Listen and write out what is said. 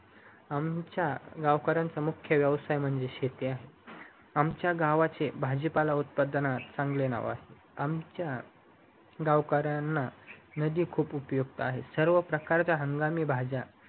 आमच्या गावकर्‍याच मुख्य व्येवसाय म्हणजे शेती आहे आमचे गावाचे पाजीपाला उत्पादनस चांगले नाव आहे गावकर्‍यांना नदी खूप उपयुक्त आहे सर्व प्रकारच्या हंगामी भाज्या